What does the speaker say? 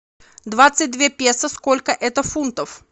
двадцать две песо сколько это фунтов